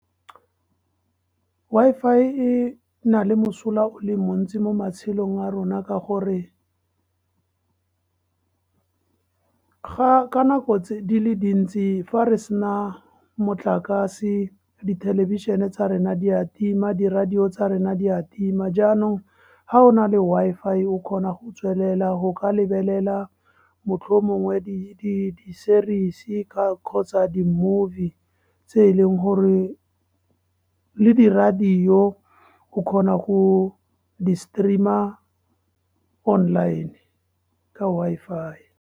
Wi-Fi e na le mosola o le montsi mo matshelong a rona, ka gore ka nako tse dintsi fa re sena motlakase, dithelebišeneng tsa rena di a tima, di-radio tsa rena di a tima, jaanong ha o na le Wi-Fi, o kgona go tswelela go ka lebelela mohlomongwe di-series-e kgotsa di-movie tse e leng gore, le di-radio, o kgona go di-stream-a online ka Wi-Fi.